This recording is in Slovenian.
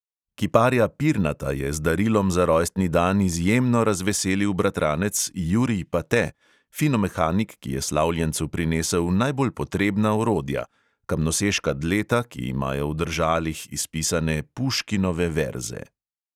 Kiparja pirnata je z darilom za rojstni dan izjemno razveselil bratranec jurij pate, finomehanik, ki je slavljencu prinesel najbolj potrebna orodja – kamnoseška dleta, ki imajo v držalih izpisane puškinove verze.